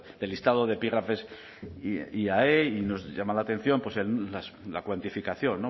del listado de epígrafes iae y nos llama la atención la cuantificación